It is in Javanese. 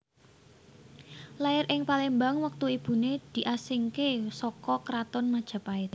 Lair ing Palembang wektu ibune diasingke saka Kraton Majapahit